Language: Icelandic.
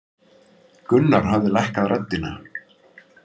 Gunnar hafði lækkað röddina.